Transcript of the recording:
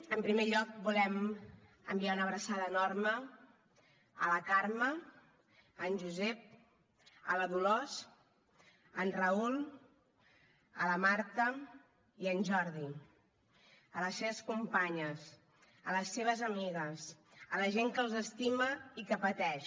en primer lloc volem enviar una abraçada enorme a la carme a en josep a la dolors a en raül a la marta i a en jordi a les seves companyes a les seves amigues a la gent que els estima i que pateix